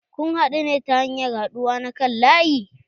Kun haɗu ne ta hanyar haɗuwa na kan laƴi?